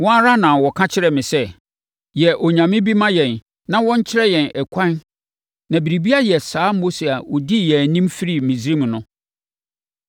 Wɔn ara na wɔka kyerɛɛ me sɛ, ‘Yɛ onyame bi ma yɛn na ɔnkyerɛ yɛn ɛkwan na biribi ayɛ saa Mose a ɔdii yɛn anim firii Misraim no.’